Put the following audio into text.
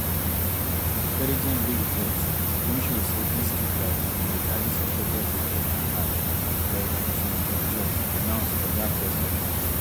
intelligence wey we get don show say dis two flights bin dey carry suspected cocaine and cash rev ntim fordjour announce for dat press conference